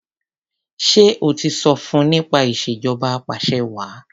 Ṣé o ti sọ fun nípa ìṣèjọba apàṣẹwàá?